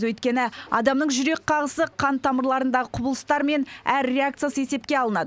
өйткені адамның жүрек қағысы қан тамырларындағы құбылыстар мен әр реакциясы есепке алынады